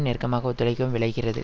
நெருக்கமாக ஒத்துழைக்கவும் விழைகிறது